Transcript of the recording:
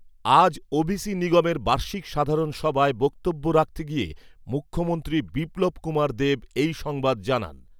আজ ওবিসি নিগমের বার্ষিক সাধারণ সভায় বক্তব্য রাখতে গিয়ে মুখ্যমন্ত্রী বিপ্লব কুমার দবে এই সংবাদ জানান।